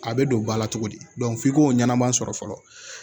A bɛ don bala cogo di f'i k'o ɲɛnɛbaa sɔrɔ fɔlɔ